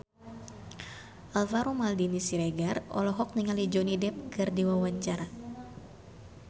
Alvaro Maldini Siregar olohok ningali Johnny Depp keur diwawancara